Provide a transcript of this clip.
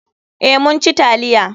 Eh, mun ci taliya.